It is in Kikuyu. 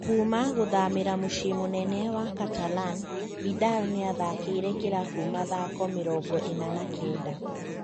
Kuuma gũthamĩra mũciĩ mũnene wa Catalan, Vidal nĩyathakĩire kĩrabu mathako mĩrongo ĩna na kenda